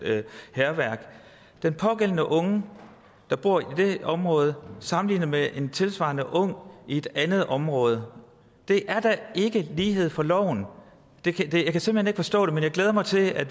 hærværk den pågældende unge der bor i det område kan sammenligne med en tilsvarende ung i et andet område det er da ikke lighed for loven jeg kan simpelt hen ikke forstå det men jeg glæder mig til at